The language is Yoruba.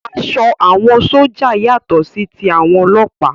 Aṣọ àwọn sójà yàtọ̀ sí ti àwọn ọlọ́ọ̀pá